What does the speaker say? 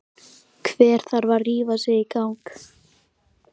Hver þarf að rífa sig í gang?